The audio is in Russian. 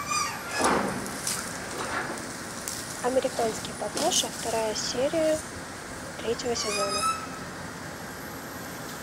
американский папаша вторая серия третьего сезона